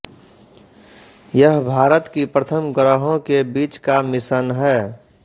यह भारत की प्रथम ग्रहों के बीच का मिशन है